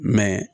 Mɛ